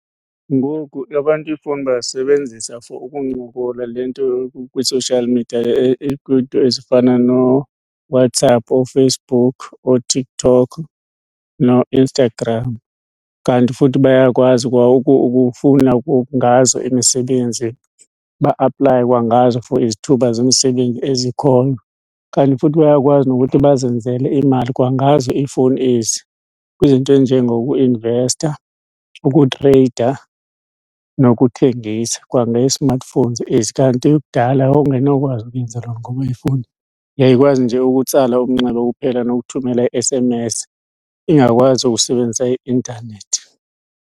Ngoku abantu iifowuni bazisebenzisa for ukuncokola le nto kwi-social media kwiinto ezifana noWhatsApp, ooFacebook, ooTikTok nooInstagram. Kanti futhi bayakwazi kwa ukufuna ngazo imisebenzi, ba-aplaye kwangazo for izithuba zemisebenzi ezikhoyo. Kanti futhi bayakwazi nokuthi bazenzele imali kwangazo iifowuni ezi kwizinto ezinjengokuinvesta, ukuthreyida nokuthengisa kwange-smartphones ezi. Kanti kudala wawungenokwazi ukuyenza loo nto ngoba ifowuni yayikwazi nje ukutsala umnxeba kuphela nokuthumela i-S_M_S, ingakwazi ukusebenzisa i-intanethi.